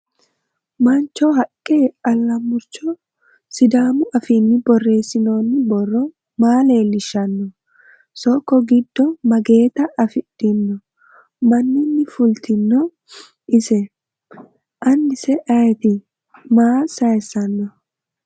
Mancho, haqqa, alamuricho, sidaamu affinni borreessinoonni borro maa leelishshanno? Sokko giddo mageetta afidhinno? Maninni fulittinno ise? Anisse ayiitti? Maa saayisanno?